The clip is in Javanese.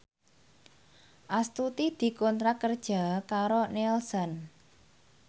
Astuti dikontrak kerja karo Nielsen